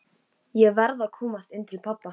Ég verð að komast inn til pabba.